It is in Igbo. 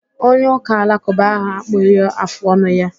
Onye ụka alakụba ahụ akpụghị afụ ọnụ ya